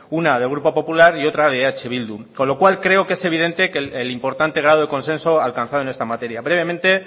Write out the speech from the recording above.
una del grupo popular y otra de eh bildu con lo cual creo que es evidente el importante grado de consenso alcanzado en esta materia brevemente